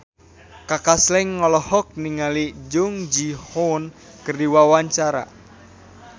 Kaka Slank olohok ningali Jung Ji Hoon keur diwawancara